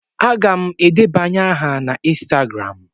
Aga m edebanye aha na ịnstagram.